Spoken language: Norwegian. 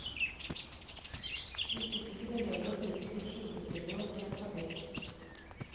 Vi fikk ikke bevege oss utenfor skjulestedet vårt i en fabrikk.